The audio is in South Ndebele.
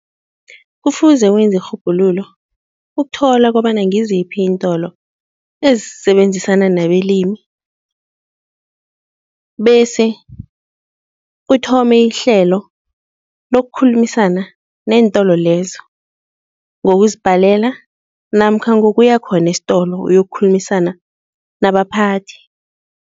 Kufuze wenza irhubhululo ukuthola kobana ngiziphi iintolo ezisebenzisana nabelimi bese uthome ihlelo lokukhulumisana nentolo lezo ngokuzibhalela namkha ngokuya khona estolo uyokukhulumisana nabaphathi.